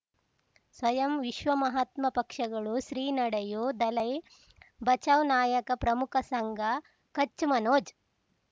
ಸ್ವಯಂ ವಿಶ್ವ ಮಹಾತ್ಮ ಪಕ್ಷಗಳು ಶ್ರೀ ನಡೆಯೂ ದಲೈ ಬಚೌ ನಾಯಕ ಪ್ರಮುಖ ಸಂಘ ಕಚ್ ಮನೋಜ್